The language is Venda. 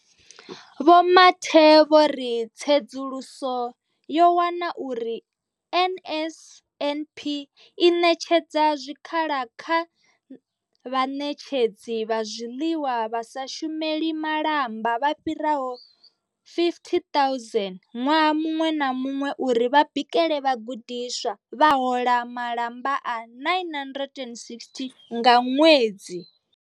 Vho Mathe vho ri tsedzuluso yo wana uri NSNP i ṋetshedza zwikhala kha vhaṋetshedzi vha zwiḽiwa vha sa shumeli malamba vha fhiraho 50 000 ṅwaha muṅwe na muṅwe uri vha bikele vhagudiswa, vha hola malamba a 960 nga ṅwedzi.